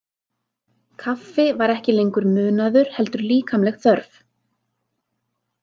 Kaffi var ekki lengur munaður heldur líkamleg þörf.